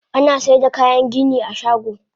Anasaida kayan gini a shago.